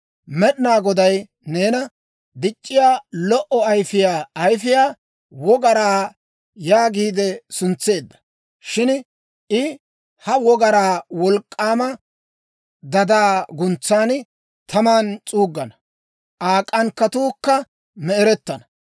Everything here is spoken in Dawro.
Med'inaa Goday neena, Dic'c'iyaa, Lo"o Ayifiyaa Ayifiyaa Wogaraa yaagiide suntseedda. Shin I ha wogaraa wolk'k'aama dadaa guntsan, taman s'uuggana; Aa k'ankkatuukka me"erettana.